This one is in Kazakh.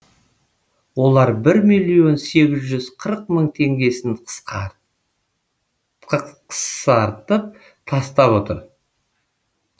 олар бір миллион сегіз жүз қырық мың теңгесін қықсартып тастап отыр